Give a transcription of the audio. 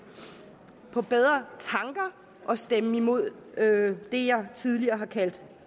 på bedre tanker og stemme imod det jeg tidligere har kaldt